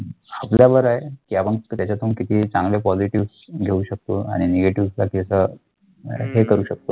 आपलं बरं आहे की आपण त्याच्यातून कितीही चांगलं quality घेऊ शकतो आणि negatives वर असं हे करू शकतो.